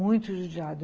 Muito judiado.